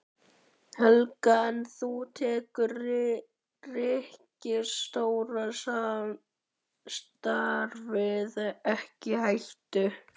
Helga: En þú tekur ríkisstjórnarsamstarfið ekki í hættu?